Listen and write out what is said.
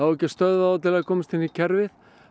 á ekki að stöðva þá til að komast inn í kerfið